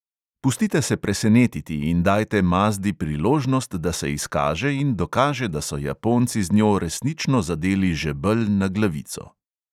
Pustite se presenetiti in dajte mazdi priložnost, da se izkaže in dokaže, da so japonci z njo resnično zadeli žebelj na glavico.